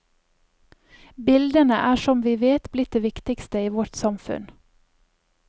Bildene er som vi vet blitt det viktigste i vårt samfunn.